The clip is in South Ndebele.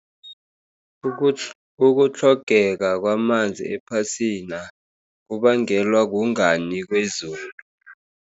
Ukutlhogeka kwamanzi ephasina, kubangelwa kungani kwezulu.